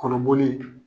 Kɔnɔboli